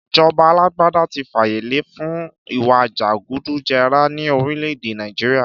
Ìjọba àlàgbàdà tí fàyẹ lẹ fún ìwá jẹgúdú jẹrà ni orile-ede Naijiria